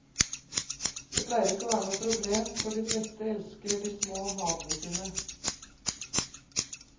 Det pleier ikke å være noe problem, for de fleste elsker de små havene sine.